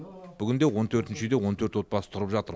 бүгінде он төртінші үйде он төрт отбасы тұрып жатыр